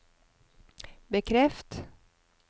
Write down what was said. bekreft